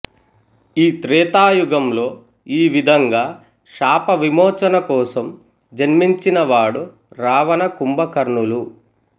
ఈ త్రేతాయుగంలో ఈ విధంగా శాపవిమౌచన కోసం జన్మించిన వాడు రావణకుంభకర్ణులు